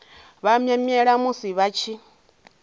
vha mwemwele musi vha tshi